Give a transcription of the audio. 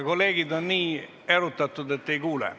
Kolleegid on nii erutatud, et ei kuule.